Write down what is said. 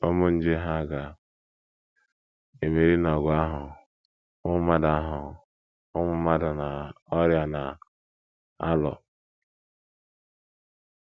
Ụmụ nje hà ga - emeri n’ọgụ ahụ ụmụ mmadụ ahụ ụmụ mmadụ na ọrịa na - alụ?